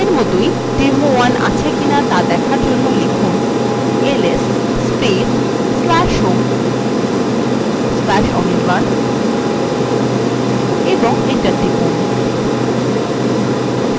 আগের মতই demo1 আছে কিনা দেখার জন্য লিখুন